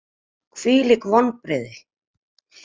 Hvílík vonbrigði!